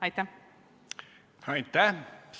Aitäh!